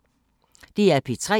DR P3